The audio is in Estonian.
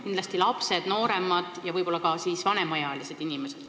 Kindlasti lapsed, nooremad ja võib-olla ka siis vanemaealised inimesed.